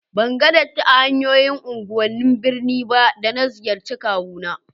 Ban ga datti a hanyoyin unguwannin birni ba da na ziyarce kawu na